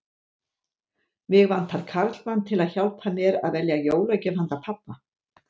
Mig vantar karlmann til að hjálpa mér að velja jólagjöf handa pabba